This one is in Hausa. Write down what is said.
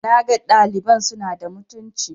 na ga ɗaliban suna da mutuncin